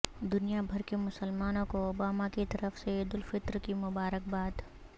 دنیا بھر کے مسلمانوں کو اوباما کی طرف سے عیدالفطر کی مبارکباد